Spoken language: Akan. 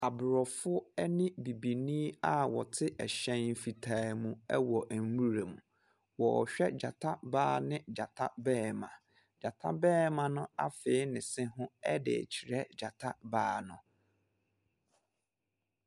Aborɔfo ne bibini a wɔte hyɛn fitaa mu wɔ nwuram. Wɔrehwɛ gyata baa ne gyata barima. Gyata barima no afee ne se ho de rekyerɛ gyataa baa no.